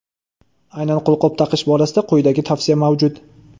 Aynan qo‘lqop taqish borasida quyidagi tavsiya mavjud:.